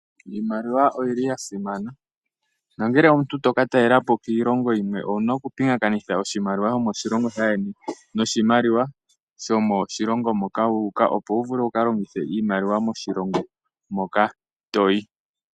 Iimaliwa oyili yasimana, nongele omuntu toka talelapo kiilongo yimwe owuna oku pingakathina oshimaliwa shomo shilongo shayeni noshimaliwa shomoshilongo moka wu uka, opo wu vule wukalongithe iimaliwa moshilongo moka toyi.